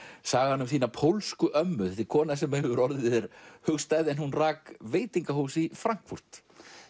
sagan um þína pólsku ömmu þetta er kona sem hefur orðið þér hugstæð hún rak veitingahús í Frankfurt